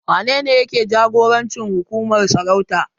Wanene yake jagorancin hukumar sarauta?